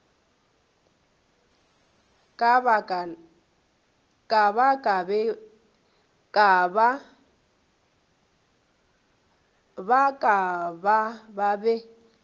ba ka ba be ba